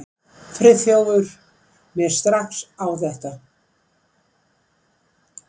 Friðþjófur mér strax á þetta.